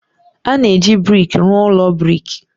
A na-eji brik rụọ ụlọ brik.